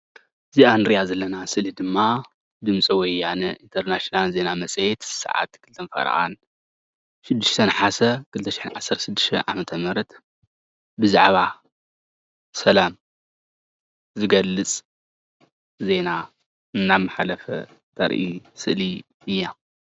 እዛ እንሪኣ ዘለና ድማ ድምፂ ወያነ እንተርናሽናል ዜና መፅሄት ሰዓት 2፡30 6 ናሓሰ 2016ዓ/ም ብዛዕባ ሰላም ዝገልፅ ዜና እናማሓለፈ ተሪኢ ስእሊ እያ፡፡